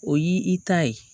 O y'i ta ye